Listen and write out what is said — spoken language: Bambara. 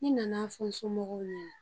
Ne a nana fɔ n somɔgɔw ɲɛna